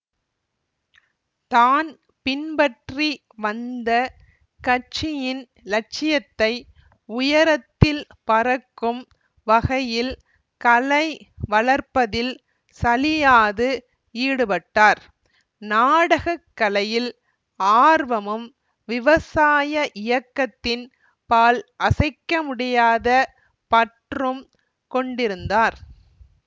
தான் பின்பற்றி வந்த கட்சியின் இலட்சியத்தை உயரத்தில் பறக்கும் வகையில் கலை வளர்ப்பதில் சலியாது ஈடுபட்டார்நாடகக் கலையில் ஆர்வமும் விவசாய இயக்கத்தின் பால் அசைக்கமுடியாத பற்றும் கொண்டிருந்தார்